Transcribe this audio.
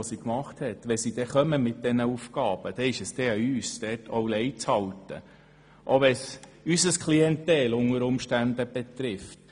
Wenn die Regierung dann etwas vorschlagen wird, ist es an uns, mitzuziehen, auch wenn es unter Umständen unsere Klientel betrifft.